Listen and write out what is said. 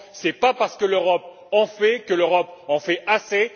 Ce n'est pas parce que l'Europe en fait que l'Europe en fait assez.